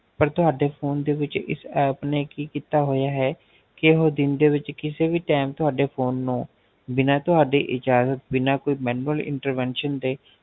ਪਰ ਤੁਹਾਡੇ Phone ਦੇ ਵਿੱਚ ਇਸ App ਨੇ ਕਿ ਕੀਤਾ ਹੋਇਆ ਹੈ ਕਿ ਇਹ ਦਿਨ ਦੇ ਵਿੱਚ ਕਿਸੇ ਵੀ Time ਤੁਹਾਡੇ Phone ਨੂੰ ਬਿਨਾ ਤੁਹਾਡੇ ਇਜ਼ਾਜ਼ਤ ਬਿਨਾ ਕੋਈ Manual intervention ਦੇ